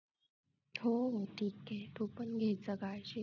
हो. ठीक हे तू पण घेत जा काळजी.